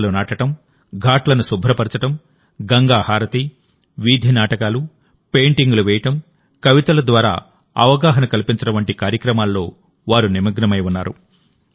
మొక్కలు నాటడం ఘాట్లను శుభ్రపరచడం గంగా హారతి వీధి నాటకాలు పెయింటింగ్లు వేయడం కవితల ద్వారా అవగాహన కల్పించడం వంటి కార్యక్రమాల్లో వారు నిమగ్నమై ఉన్నారు